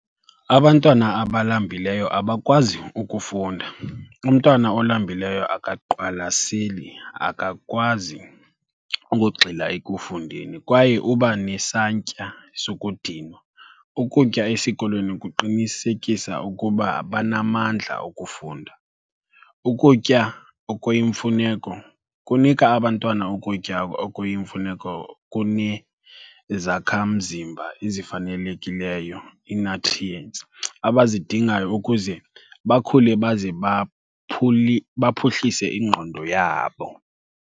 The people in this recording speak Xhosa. Abantwana abalambileyo abakwazi ukufunda. Umntwana olambileyo akaqwalaseli, akakwazi ukugxila ekufundeni kwaye uba nesantya sokudinwa. Ukutya esikolweni kuqinisekisa ukuba banamandla okufunda. Ukutya okuyimfuneko kunika abantwana ukutya okuyimfuneko kunezakhamzimba ezifanelekileyo, ii-nutrients, abazidingayo ukuze bakhule baze baphuhlise ingqondo yabo.